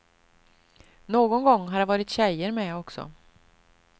Någon gång har det varit tjejer med också.